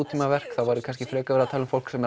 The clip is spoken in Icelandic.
nútímaverk þá væri kannski frekar verið að tala um fólk sem